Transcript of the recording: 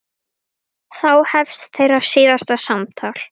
Þá hefst þeirra síðasta samtal.